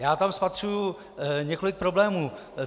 Já tam spatřuji několik problémů.